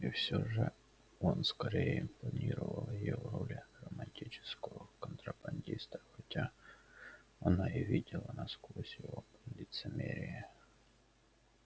и всё же он скорее импонировал ей в роли романтического контрабандиста хотя она и видела насквозь его лицемерие